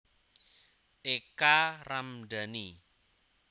Eka Ramdani